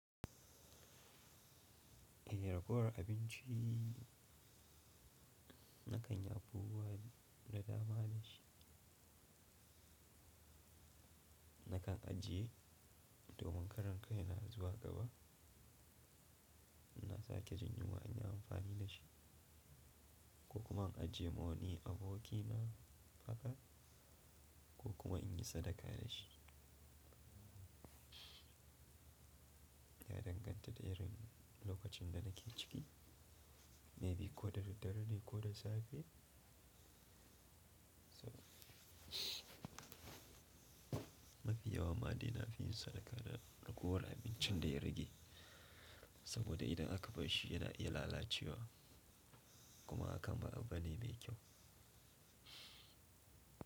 Eh, ragowar abinci na kan yi abubuwa da dama da shi. Na kan ajiye domin karan kai na zuwa gaba, ina sake jin yunwa in yi amfani da shi, ko kuma in ajiye ma wani aboki na haka ko kuma in yi sadaka da shi. Ya danganta da irin lokacin da nake ciki, maybe ko da daddare ne ko da safe. Mafi yawa ma dai na fi yin sadaka da ragowar abincin da ya rage saboda idan aka bar shi yana iya lalacewa kuma hakan ba abu bane ai kyau.